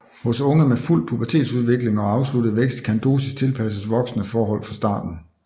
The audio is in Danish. Hos unge med fuld pubertetsudvikling og afsluttet vækst kan dosis tilpasses voksne forhold fra starten